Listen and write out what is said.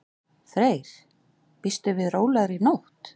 Freyr: Býstu við rólegri nótt?